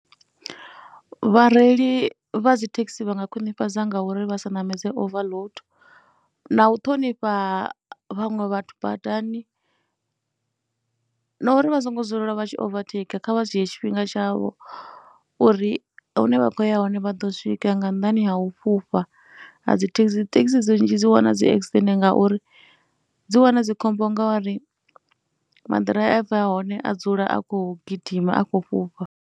Vhareili vha dzi thekhisi vha nga khwinifhadza nga uri vha sa ṋamedza overload na u ṱhonifha vhaṅwe vhathu badani na uri vha songo dzulela vha tshi overtaker kha vha dzhiye tshifhinga tshavho uri hune vha khou ya hone vha ḓo swika. Nga nnḓani ha u fhufha a dzi thekhisi, thekhisi nnzhi dzi wana dzi akisidennde ngauri dzi wana dzi khombo ngori maḓiraiva a hone a dzula a khou gidima, a khou fhufha.